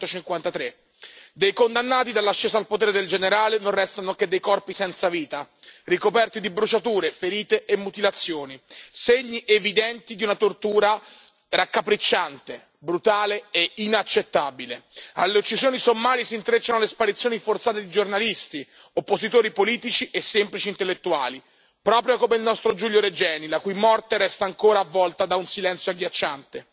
1953. Dei condannati, dall'ascesa al potere del generale, non restano che dei corpi senza vita, ricoperti di bruciature, ferite e mutilazioni, segni evidenti di una tortura raccapricciante, brutale e inaccettabile. Alle uccisioni sommarie si intrecciano le sparizioni forzate di giornalisti, oppositori politici e semplici intellettuali, proprio come il nostro Giulio Regeni, la cui morte resta ancora avvolta da un silenzio agghiacciante.